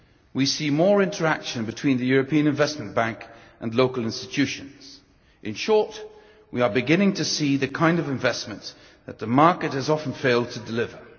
We see more interaction between the European Investment Bank and local institutions. In short, we are beginning to see the kind of investment that the market has often failed to deliver.